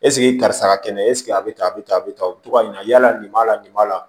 karisa ka kɛnɛ esike a be tan a be tan a be tan o be to ka ɲala nin b'a la nin b'a la